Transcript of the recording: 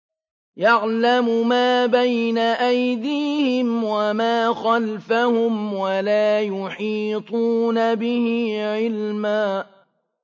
يَعْلَمُ مَا بَيْنَ أَيْدِيهِمْ وَمَا خَلْفَهُمْ وَلَا يُحِيطُونَ بِهِ عِلْمًا